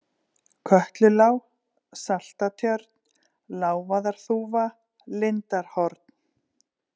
Kötlulág, Saltatjörn, Lávaðarþúfa, Lindarhorn